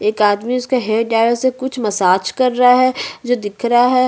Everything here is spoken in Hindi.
एक आदमी है उसका हेड है कुछ मसाज कर रहा है जो दिख रहा है।